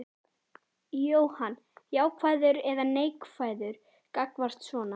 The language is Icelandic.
Jóhann: Jákvæður eða neikvæður gagnvart svona?